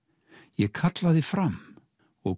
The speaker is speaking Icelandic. ég kallaði fram og